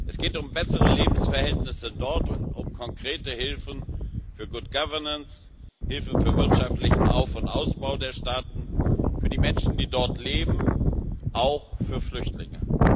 Es geht um bessere Lebensverhältnisse dort und um konkrete Hilfen für good governance Hilfe für wirtschaftlichen Auf und Ausbau der Staaten für die Menschen, die dort leben auch für Flüchtlinge.